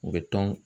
U bɛ tɔn